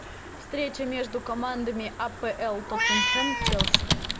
встреча между командами апл тоттенхэм челси